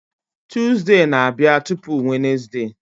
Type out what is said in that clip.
Tuzdee na-abịa tupu Wenezde